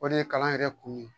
O de ye kalan yɛrɛ kun ye